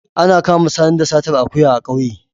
Ana kama Sani da satar akuya a kauye